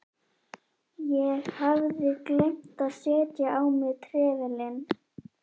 Ég hafði gleymt að setja á mig trefilinn.